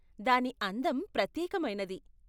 దాని అందం ప్రత్యేకమైనది.